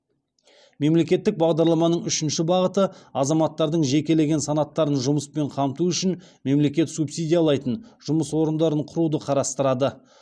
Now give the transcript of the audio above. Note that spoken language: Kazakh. мемлекеттік бағдарламаның үшінші бағыты азаматтардың жекелеген санаттарын жұмыспен қамту үшін мемлекет субсидиялайтын жұмыс орындарын құруды қарастырады